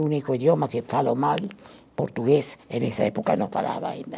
O único idioma que falo mal, português, e nessa época não falava ainda.